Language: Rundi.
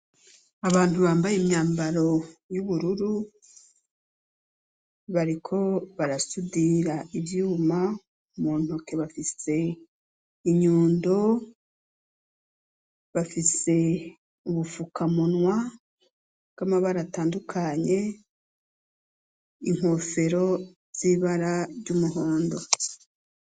Abantu, bambaye imyambaro y'ubururu, bariko barasudira ivyuma; mu ntoke bafise inyundo, bafise ubufukamunwa, bw'amabara atandukanye, inkofero z'ibara ry'umuhondo.